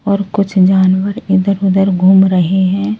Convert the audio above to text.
और कुछ जानवर इधर-उधर घूम रहे हैं।